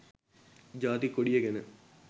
ජාතික කොඩිය ගැන